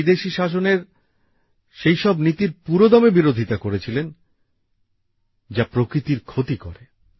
উনি বিদেশী শাসনের এমন নীতির পুরোদমে বিরোধিতা করেছিলেন যা প্রকৃতির ক্ষতি করে